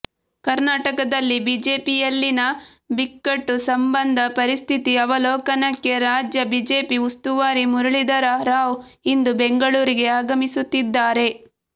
ಕರ್ನಾಟಕದಲ್ಲಿ ಬಿಜೆಪಿಯಲ್ಲಿನ ಬಿಕ್ಕಟ್ಟು ಸಂಬಂಧ ಪರಿಸ್ಥಿತಿ ಅವಲೋಕನಕ್ಕೆ ರಾಜ್ಯ ಬಿಜೆಪಿ ಉಸ್ತುವಾರಿ ಮುರುಳೀಧರ ರಾವ್ ಇಂದು ಬೆಂಗಳೂರಿಗೆ ಆಗಮಿಸುತ್ತಿದ್ದಾರೆ